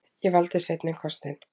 Ég valdi seinni kostinn.